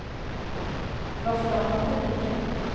Det var för dem han predikade.